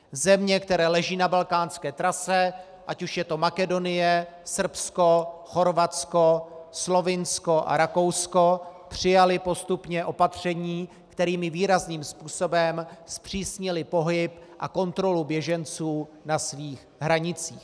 Země, které leží na balkánské trase, ať už je to Makedonie, Srbsko, Chorvatsko, Slovinsko a Rakousko, přijaly postupně opatření, kterými výrazným způsobem zpřísnily pohyb a kontrolu běženců na svých hranicích.